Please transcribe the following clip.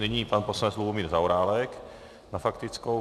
Nyní pan poslanec Lubomír Zaorálek na faktickou.